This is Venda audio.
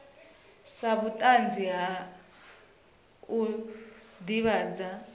sa vhutanzi ha u ndivhadzo